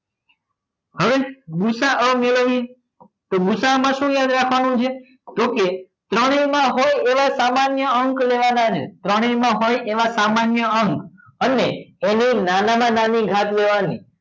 હવે ભુસા મેળવીએ તોભુસામાં શું યાદ રાખવાનું છે તો કે ત્રણેયમાં હોય એવા સામાન્ય અંક લેવાના છે ત્રણેયમાં હોય એવા સામાન્ય અંક અને એની નાનામાં નાની ઘાત લેવાની